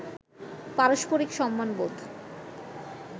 পারস্পরিক সম্মানবোধ